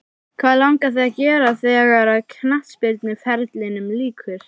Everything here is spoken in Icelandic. Hvað langar þig að gera þegar að knattspyrnuferlinum líkur?